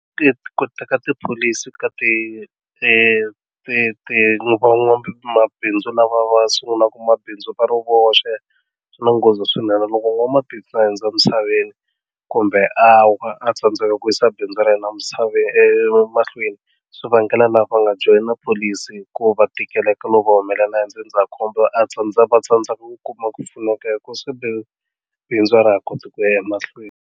Ti ku teka tipholisi ka ti ti ti van'wamabindzu lava va sungulaka mabindzu va ri voxe swi na nghozi swinene loko n'wamabindzu a hundza emisaveni kumbe a wa a tsandzeka ku yisa bindzu ra yena misaveni emahlweni swi vangela lava nga joyina pholisi ku va tikeleka no va humelela hi ndzindzakhombo a va tsandzeka ku kuma ku pfuneka hi ku bindzu a ra ha koti ku ya emahlweni.